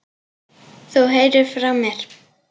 Þú heyrir frá mér.